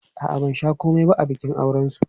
A'a, ban sha komai ba a bikin aurensu.